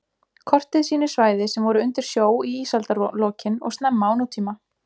Kortið sýnir svæði sem voru undir sjó í ísaldarlokin og snemma á nútíma.